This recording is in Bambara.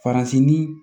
Faransi ni